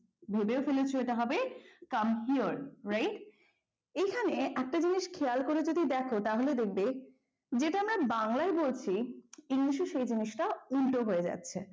ভেবেও ফেলেছো এটা হবে come on right এখানে একটা জিনিস খেয়াল করে যদি দেখো তাহলে দেখবে যেটা আমরা বাংলায় বলছি english এ সেই জিনিসটা উল্টো হয়ে যাচ্ছে